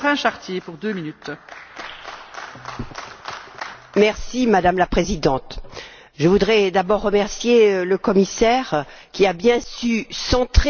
Madame la Présidente, je voudrais d'abord remercier le commissaire, qui a bien su centrer le débat, même si après nous nous en éloignons un peu.